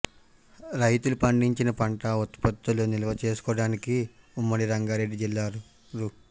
రైతులు పండించిన పంట ఉత్పత్తులు నిల్వ చేసుకోవడానికి ఉమ్మడి రంగారెడ్డి జిల్లాలో రూ